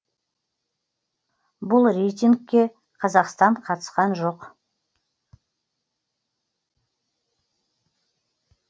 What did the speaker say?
бұл рейтингке қазақстан қатысқан жоқ